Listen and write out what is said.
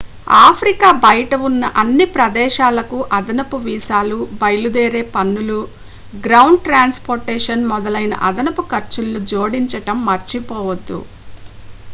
Africa బయట ఉన్న అన్ని ప్రదేశాలకు అదనపు వీసాలు బయలుదేరే పన్నులు గ్రౌండ్ ట్రాన్స్ పోర్టేషన్ మొదలైన అదనపు ఖర్చులను జోడించడం మర్చిపోవద్దు